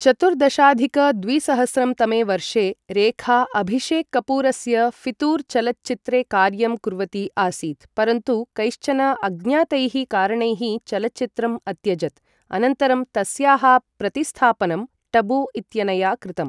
चतुर्दशाधिक द्विसहस्रं तमे वर्षे रेखा अभिषेक् कपूरस्य फ़ितूर् चलच्चित्रे कार्यं कुर्वती आसीत्, परन्तु कैश्चन अज्ञातैः कारणैः चलच्चित्रम् अत्यजत्, अनन्तरं तस्याः प्रतिस्थापनं टबू इत्यनया कृतम्।